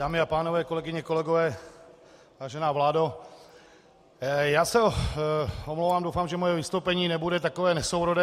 Dámy a pánové, kolegyně, kolegové, vážená vládo, já se omlouvám, doufám, že moje vystoupení nebude takové nesourodé.